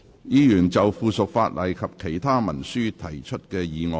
議員就附屬法例及其他文書提出的議案。